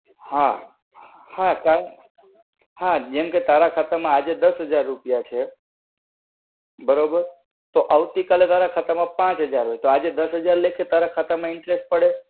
હા. હા. હા, જેમ કે તારા ખાતા માં આજે દસ હજાર રૂપિયા છે, બરોબર? તો આવતી કાલે તારા ખાતામાં પાંચ હજાર હોય, તો આજે તારા ખાતામાં દસ હજાર લેખે interest પડે.